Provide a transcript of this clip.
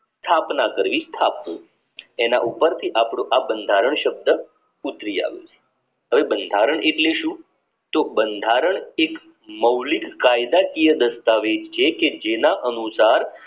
સ્થાપના કરવી સ્થાપવું તેના ઉપરથી આપણું આ બંધારણ શક્ય ઉપજી આવ્યું. બંધારણ એટલે શું તો બંધારણ એ એક મૌલિક કાયદાકીય દસ્તાવેજ જે કે જેના અનુસાર